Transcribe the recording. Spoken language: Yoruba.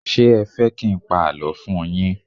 Ṣé ẹ fẹ́ kí n pa àlọ́ fún un yín?